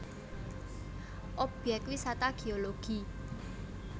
Obyek Wisata Geologi